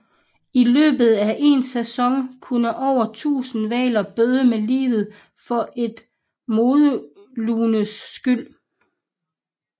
I løbet af én sæson kunne over tusinde hvaler bøde med livet for et modelunes skyld